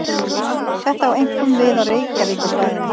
Þetta á einkum við á Reykjavíkursvæðinu.